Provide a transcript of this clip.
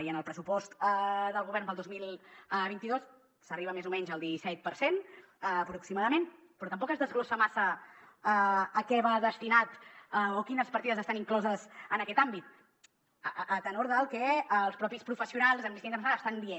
i en el pressupost del govern per al dos mil vint dos s’arriba més o menys al disset per cent aproximadament però tampoc es desglossa massa a què va destinat o quines partides estan incloses en aquest àmbit a tenor del que els propis professionals d’amnistia internacional estan dient